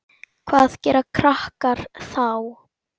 Hvað gera krakkar þá?